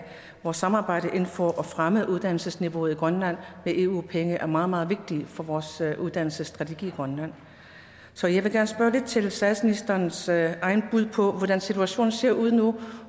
vores samarbejde inden for fremme af uddannelsesniveauet i grønland med eu penge er meget meget vigtige for vores uddannelsesstrategi i grønland så jeg vil gerne spørge lidt til statsministerens eget bud på hvordan situationen ser ud nu